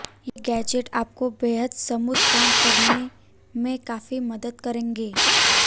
ये गैजेट आपको बेहद स्मूद काम करने में काफी मदद करेंगे